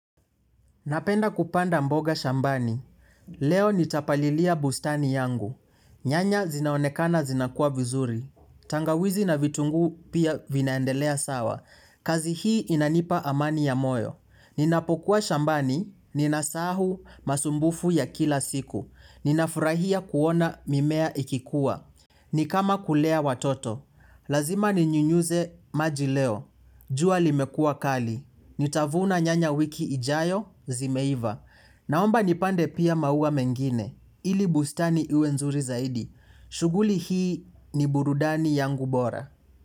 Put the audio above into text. Napenda kupanda mboga shambani. Leo nitapalilia bustani yangu. Nyanya zinaonekana zinakua vizuri. Tangawizi na vitungu pia vinaendelea sawa. Kazi hii inanipa amani ya moyo. Ninapokuwa shambani. Ninasahau masumbufu ya kila siku. Ninafurahia kuona mimea ikikua. Ni kama kulea watoto, lazima ninyunyuze majileo, jua limekua kali, nitavuna nyanya wiki ijayo zimeiva. Naomba nipande pia maua mengine, ili bustani iwe nzuri zaidi, shughuli hii ni burudani yangu bora.